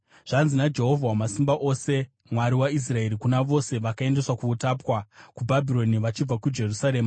Zvanzi naJehovha Wamasimba Ose, Mwari waIsraeri, kuna vose vandakaendesa kuutapwa kuBhabhironi vachibva kuJerusarema: